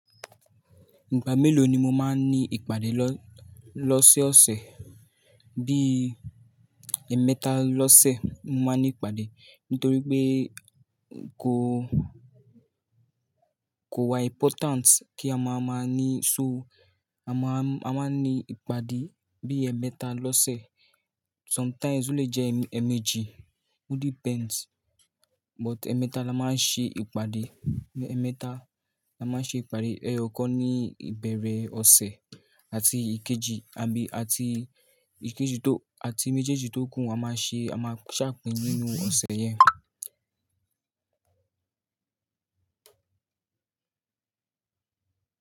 Ìgbà mélòó ni mo máa ń ní ìpàdé lọ-lọ́sẹ̀ ọ̀sẹ̀, bí i ẹ̀ẹ̀mẹta lọ́sẹ̀ mo máa ń ní ìpàdé. Nítorí pé kò-kò wa important kí a máa máa ní, so a máa ń, a máa ń ní ìpàdé bí i ẹ̀ẹ̀mẹta lọ́sẹ̀. Sometimes o le jẹ́ ẹ̀ẹ̀mejì, it depends, but ẹ̀ẹ̀mẹta la máa ń ṣe ìpàdé. Ẹ̀ẹ̀mẹta la máa ń ṣe ìpàdé, ẹyọ kan ní ìbẹ̀rẹ̀ ọ̀sẹ̀ àti ìkejì, àbí àti ìkejì tó, àti méjèèjì tó kùn a máa ṣe, a máa ṣàpín nínú ọ̀sẹ̀ yẹn.